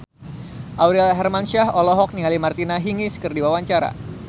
Aurel Hermansyah olohok ningali Martina Hingis keur diwawancara